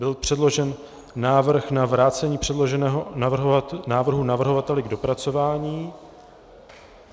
Byl předložen návrh na vrácení předloženého návrhu navrhovateli k dopracování.